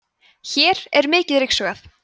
hér er mikið ryksugað